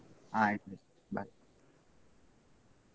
ಆಯ್ತು bye .